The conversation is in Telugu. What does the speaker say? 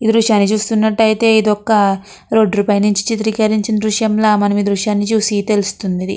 ఈ దృశ్యాన్ని చూసినట్లయితే ఇది రోడ్ పైన నుండి చిత్రీకరించిన దృశ్యం లా మనం ఈ దృశ్యాన్ని చూస్తే తెలుస్తున్నది.